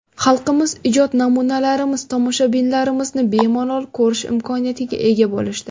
Xalqimiz ijod namunalarimiz, tomoshalarimizni bemalol ko‘rish imkoniyatiga ega bo‘lishdi.